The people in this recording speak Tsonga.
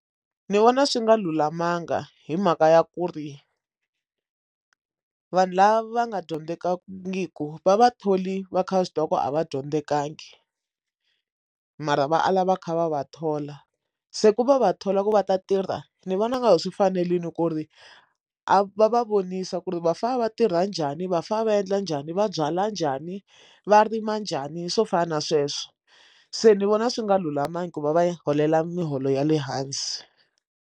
I vona swi nga lulamanga hi mhaka ya ku ri vanhu lava nga dyondzekangiku va vatholi va kha va swi tiva ku a va dyondzekanga mara va ala va kha va va thola se ku va va thola ku va ta tirha ni vona nga ku swi fanerile ku ri a va va vonisa ku ri va fanele va tirha njhani vafanele va endla njhani va byala njhani va rima njhani swo fana na sweswo se ni vona swi nga lulamangi ku va va holela miholo ya le hansi.